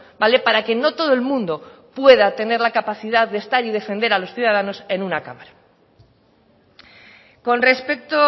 vale para que no todo el mundo pueda tener la capacidad de estar y defender a los ciudadanos en una cámara con respecto